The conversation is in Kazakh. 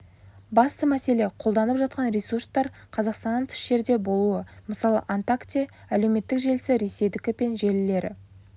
басты мәселе қолданылып жатқан ресурстар қазақстаннан тыс жерде болуы мысалы онтакте әлеуметтік желісі ресейдікі пен желілері